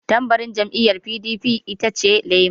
Tambarin jam'iyar PDP itace lema.